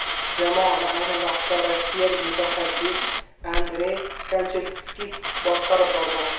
Jamoani ayni vaqtda rossiyalik mutaxassis Andrey Kanchelskis boshqarib bormoqda.